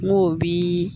N'o bi